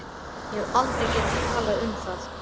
Ég hef aldrei getað talað um það.